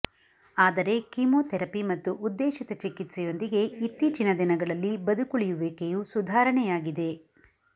ಆದರೆ ಕೀಮೋಥೆರಪಿ ಮತ್ತು ಉದ್ದೇಶಿತ ಚಿಕಿತ್ಸೆಯೊಂದಿಗೆ ಇತ್ತೀಚಿನ ದಿನಗಳಲ್ಲಿ ಬದುಕುಳಿಯುವಿಕೆಯು ಸುಧಾರಣೆಯಾಗಿದೆ